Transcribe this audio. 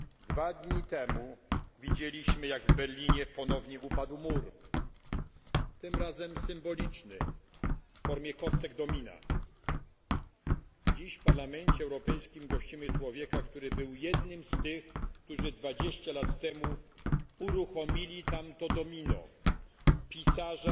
Dwa dni temu widzieliśmy, jak w Berlinie ponownie upadł mur. Tym razem symboliczny w formie kostek domina. Dziś w Parlamencie Europejskim gościmy człowieka, który był jednym z tych, którzy dwadzieścia lat temu uruchomili tamto domino pisarza,